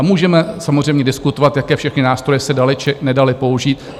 A můžeme samozřejmě diskutovat, jaké všechny nástroje se daly či nedaly použít.